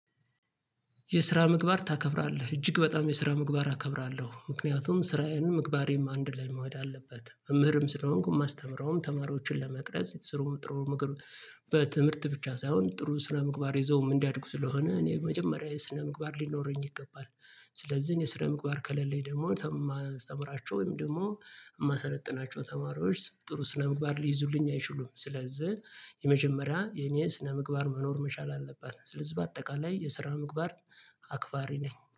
የስራ ምግባር ታከብራለህ እጅግ በጣም የስራ ምግባር አከብራለሁ ምክንያቱም ስራዬም ምግባሬም አንድ ላይ መሄድ አለበት መምህርም ስለሆንኩ ማስተምረውም ተማሪዎችን ለመቅረጽ ስሩም ጥሩም ምክር። በትምህርት ብቻ ሳይሆን ጥሩ ስነ ምግባር ይዘውም እንዳድጉ ስለሆነ እኔ መጀመሪያ ስነ ምግባር ሊኖረኝ ይገባል። ስለዚህ እኔ ስነ ምግባር ከሌለኝ ደግሞ የማስተምራቸው ወይም ደግሞ የማሰለጥናቸው ተማሪዎች ጥሩ ስነ ምግባር ሊይዙልኝ አይችሉም ስለዚህ የመጀመሪያ የኔ ስነምግባር መኖር መቻል አለበት። ስለዚህ በአጠቃላይ የስራ ምግባር አክባሪ ነኝ